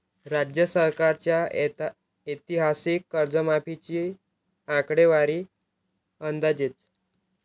राज्य सरकारच्या ऐतिहासिक कर्जमाफीची आकडेवारी अंदाजेच!